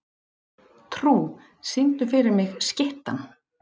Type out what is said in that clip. Trú, syngdu fyrir mig „Skyttan“.